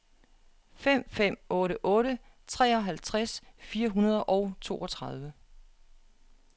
fem fem otte otte treoghalvtreds fire hundrede og toogtredive